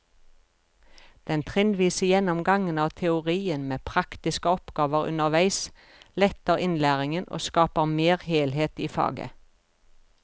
Den trinnvise gjennomgangen av teorien med praktiske oppgaver underveis letter innlæringen og skaper mer helhet i faget.